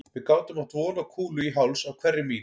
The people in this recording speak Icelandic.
Við gátum átt von á kúlu í háls á hverri mín